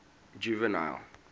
juvenal